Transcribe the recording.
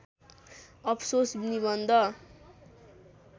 अफसोस निबन्ध